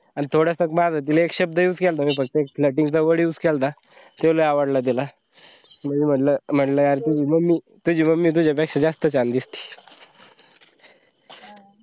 अन थोडसं माझ तिले एक शब्द use केलंत मी एक flirting word use केलंत ते लई आवडला तिला मी म्हणलं या तुझी mummy तुझ्या पेक्षा जास्त छान दिसते.